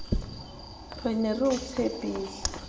re ne re o tshepile